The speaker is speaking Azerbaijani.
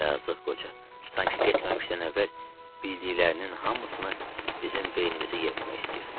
Yazıq qoca sanki getməmişdən əvvəl bildiklərinin hamısını bizim beynimizə yeritmək istəyirdi.